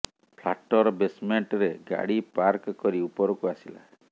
flat ର basement ରେ ଗାଡି ପାର୍କ କରି ଉପରକୁ ଆସିଲା